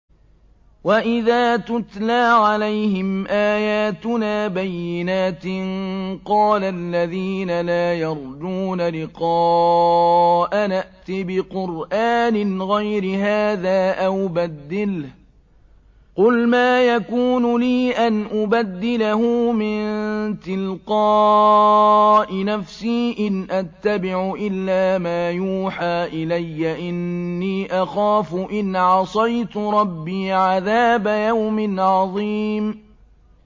وَإِذَا تُتْلَىٰ عَلَيْهِمْ آيَاتُنَا بَيِّنَاتٍ ۙ قَالَ الَّذِينَ لَا يَرْجُونَ لِقَاءَنَا ائْتِ بِقُرْآنٍ غَيْرِ هَٰذَا أَوْ بَدِّلْهُ ۚ قُلْ مَا يَكُونُ لِي أَنْ أُبَدِّلَهُ مِن تِلْقَاءِ نَفْسِي ۖ إِنْ أَتَّبِعُ إِلَّا مَا يُوحَىٰ إِلَيَّ ۖ إِنِّي أَخَافُ إِنْ عَصَيْتُ رَبِّي عَذَابَ يَوْمٍ عَظِيمٍ